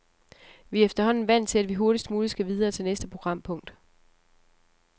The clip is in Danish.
Vi er efterhånden vant til, at vi hurtigst muligt skal videre til næste programpunkt.